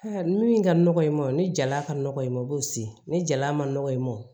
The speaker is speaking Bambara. min ka nɔgɔ i ma o ni jala ka nɔgɔ i ma i b'o se ni jala ma nɔgɔ ye nɔ